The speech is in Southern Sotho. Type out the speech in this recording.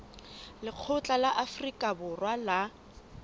lekgotla la afrika borwa la